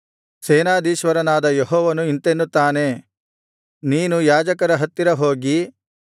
ಸೇನಾಧೀಶ್ವರನಾದ ಯೆಹೋವನು ಇಂತೆನ್ನುತ್ತಾನೆ ನೀನು ಯಾಜಕರ ಹತ್ತಿರ ಹೋಗಿ